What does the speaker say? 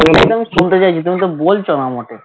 আমি শুনতে চাইছি তুমি তো বলছো না আমাকে